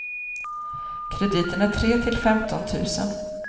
Krediten är tre till femton tusen.